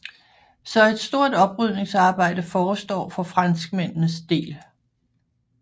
Så et stort oprydningsarbejde forestår for franskmændenes del